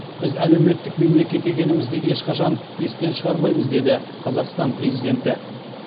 біз әлеуметтік мемлекет екенімізді ешқашан естен шығармаймыз деді қазақстан президенті